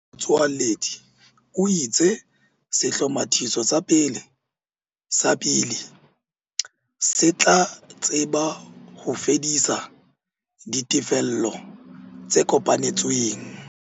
Tsoaledi o itse sehlomathiso sa pele sa Bili se tla tseba ho fedisa ditefello tse kopanetsweng.